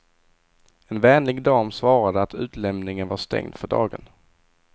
En vänlig dam svarade att utlämningen var stängd för dagen.